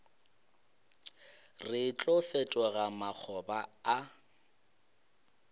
re tlo fetoga makgoba a